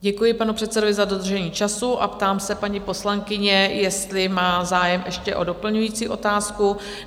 Děkuji panu předsedovi za dodržení času a ptám se paní poslankyně, jestli má zájem ještě o doplňující otázku?